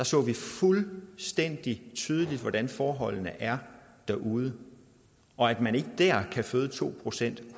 så vi fuldstændig tydeligt hvordan forholdene er derude og at man ikke dér kan føde to procent